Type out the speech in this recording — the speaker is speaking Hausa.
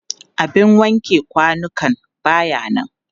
abin wanke kwanukan ba ya nan